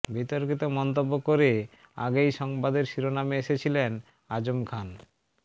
বিতর্কিত মন্তব্য করে আগেই সংবাদের শিরোনামে এসেছিলেন আজম খান